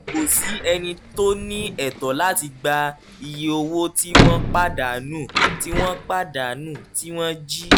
kò sí ẹni tó ní ẹ̀tọ́ láti gba iye owó tí wọ́n pàdánù tí wọ́n pàdánù tí wọ́n jí